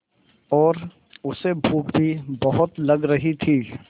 और उसे भूख भी बहुत लग रही थी